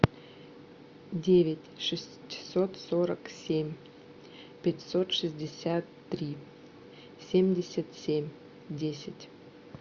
девять шестьсот сорок семь пятьсот шестьдесят три семьдесят семь десять